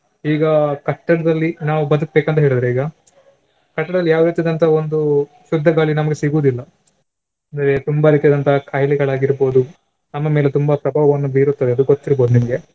ಈಗ ಕಟ್ಟಡದಲ್ಲಿ ನಾವು ಬದುಕ್ಬೇಕಂತ ಹೇಳಿದ್ರೆ ಈಗ ಕಟ್ಟಡದಲ್ಲಿ ಯಾವ ರೀತಿದಂತಹ ಒಂದು ಶುದ್ದ ಗಾಳಿ ನಮಗೆ ಸಿಗುವುದಿಲ್ಲ. ಅಂದ್ರೆ ತುಂಬಾ ರೀತಿಯಾದಂತಹ ಖಾಯಿಲೆಗಳಾಗಿರ್ಬೋದು ನಮ್ಮ ಮೇಲೆ ತುಂಬಾ ಪ್ರಭಾವವನ್ನು ಬೀರುತ್ತದೆ ಅದು ಗೊತ್ತಿರ್ಬೋದು ನಿಮ್ಗೆ.